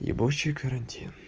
ебучий карантин